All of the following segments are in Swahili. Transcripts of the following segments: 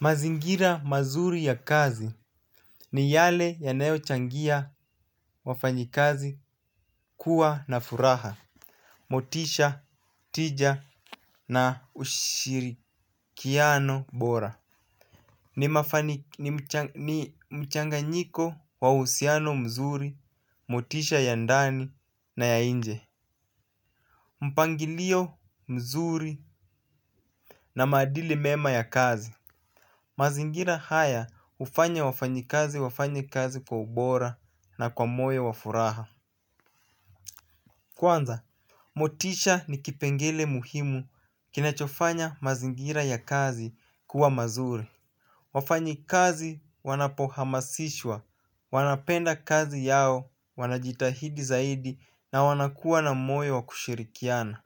Mazingira mazuri ya kazi ni yale yanayochangia wafanyikazi kuwa na furaha, motisha, tija na ushirikiano bora. Ni mchanganyiko wa ushusiano mzuri, motisha ya ndani na ya nje. Mpangilio mzuri na maadili mema ya kazi mazingira haya hufanya wafanyikazi wafanye kazi kwa ubora na kwa moyo wa furaha. Kwanza, motisha ni kipengele muhimu kinachofanya mazingira ya kazi kuwa mazuri. Wafanyikazi wanapohamasishwa, wanapenda kazi yao, wanajitahidi zaidi na wanakuwa na moyo wa kushirikiana.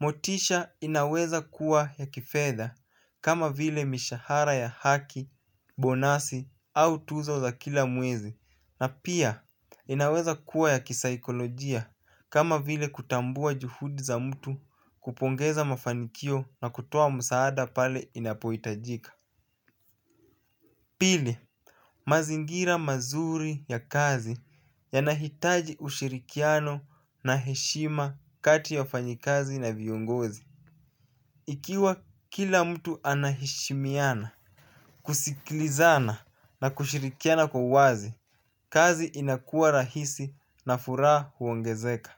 Motisha inaweza kuwa ya kifedha kama vile mishahara ya haki, bonasi au tuzo za kila mwezi. Na pia inaweza kuwa ya kisaikolojia kama vile kutambua juhudi za mtu, kupongeza mafanikio na kutoa msaada pale inapohitajika. Pili, mazingira mazuri ya kazi yanahitaji ushirikiano na heshima kati ya wafanyikazi na viongozi. Ikiwa kila mtu anaheshimiana, kusikilizana na kushirikiana kwa wazi, kazi inakuwa rahisi na furaha huongezeka.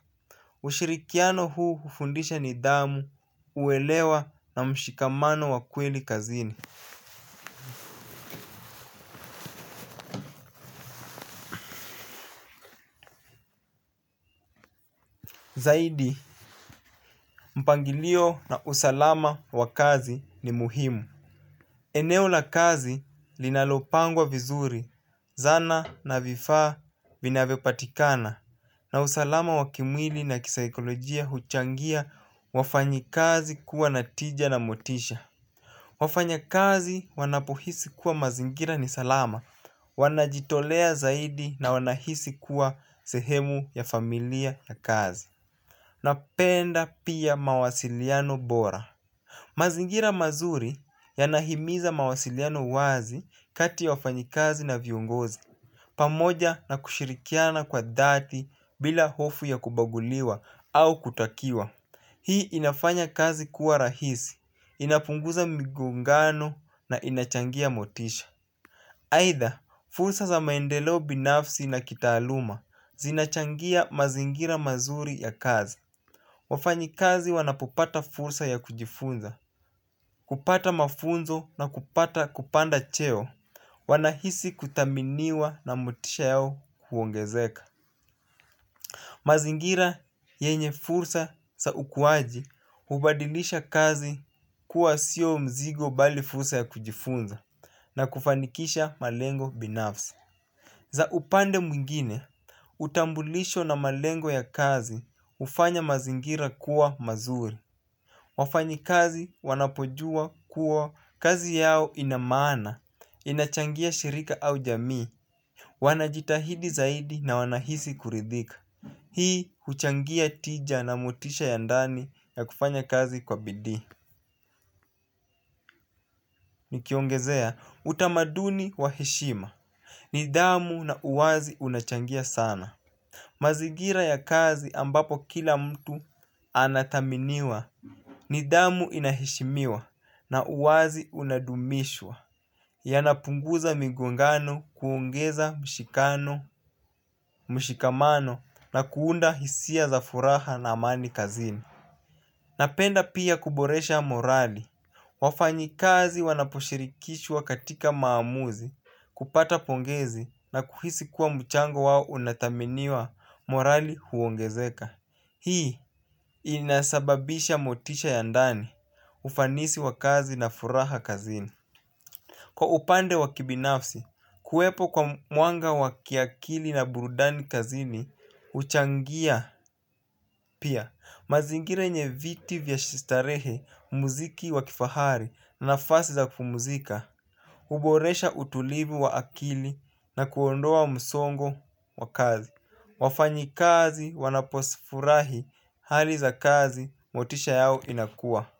Ushirikiano huu hufundisha nidhamu, uelewa na mshikamano wa kweli kazini. Zaidi, mpangilio na usalama wa kazi ni muhimu. Eneo la kazi linalopangwa vizuri, zana na vifaa vinavyopatikana. Na usalama wa kimwili na kisaikolojia huchangia wafanyikazi kuwa na tija na motisha. Wafanyakazi wanapohisi kuwa mazingira ni salama, wanajitolea zaidi na wanahisi kuwa sehemu ya familia ya kazi. Napenda pia mawasiliano bora. Mazingira mazuri yanahimiza mawasiliano wazi kati wafanyikazi na viongozi. Pamoja na kushirikiana kwa dhati bila hofu ya kubaguliwa au kutakiwa hii inafanya kazi kuwa rahisi, inapunguza migongano na inachangia motisha. Aitha, fursa za maendeleo binafsi na kitaaluma, zinachangia mazingira mazuri ya kazi. Wafanyikazi wanapopata fursa ya kujifunza, hupata mafunzo na kupata kupanda cheo. Wanahisi kuthaminiwa na motisha yao huongezeka. Mazingira yenye fursa za ukuaji, hubadilisha kazi kuwa sio mzigo bali fursa ya kujifunza na kufanikisha malengo binafsi. Za upande mwingine, utambulisho na malengo ya kazi hufanya mazingira kuwa mazuri. Wafanyi kazi wanapojua kuwa kazi yao ina maana, inachangia shirika au jamii. Wanajitahidi zaidi na wanahisi kuridhika. Hii huchangia tija na motisha ya ndani ya kufanya kazi kwa bidii. Nikiongezea, utamaduni wa heshima, nidhamu na uwazi unachangia sana. Mazingira ya kazi ambapo kila mtu anathaminiwa nidhamu ina heshimiwa na uwazi unadumishwa. Yanapunguza migongano, kuongeza mshikano, mshikamano na kuunda hisia za furaha na amani kazini. Napenda pia kuboresha morali. Wafanyikazi wanaposhirikishwa katika maamuzi, kupata pongezi na kuhisi kuwa mchango wao unathaminiwa, morali huongezeka. Hii inasababisha motisha ya ndani ufanisi wa kazi na furaha kazini. Kwa upande wa kibinafsi, kuwepo kwa mwanga wa kiakili na burudani kazini huchangia pia. Mazingira yenye viti vya starehe, muziki wa kifahari na nafasi za kupumzika huboresha utulivu wa akili na kuondoa msongo wa kazi. Wafanyikazi wanapozifurahi hali za kazi, motisha yao inakua.